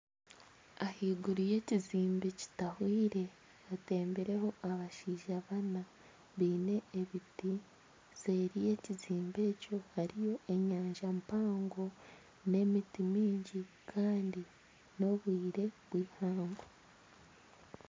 Ahaiguru yekizimbe kitahwaire hatembireho abashaija bana baine ebiti seeri y'ekizimbe ekyo hariyo enyanja mpango nana emiti mingi kandi n'obwire obw'eihangwe.